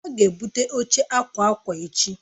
A ga-ebute oche akwa akwa echi.